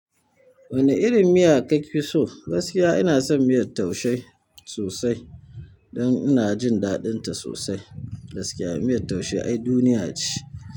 Wane irin miya kafi so? Gaskiya ina son miyar taushe sosai don ina jin daɗinta sosai. Gaskiya miyar taushe ai duniya ce.